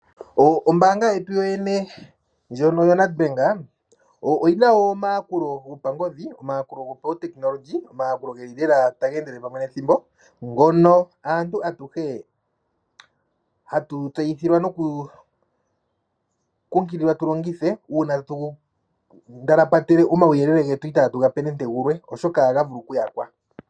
Ombanga yetu yoyene ndjono yo Nedbank, oyina omayakulo gopangodhi, omayakulo gopawutekinolohi lela tangendele pamwe nethimbo ngono aantu atuhe hatu tseyithilwa noku kukilikwa tulongithe una tatu ndalapata omawuyelele ngetu itatu ngape nande ngulwe oshoka ohangavulu okuyakwa.